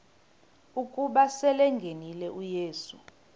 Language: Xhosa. ukuba selengenile uyesu